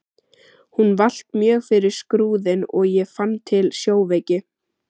Hún valt mjög fyrir Skrúðinn og ég fann til sjóveiki.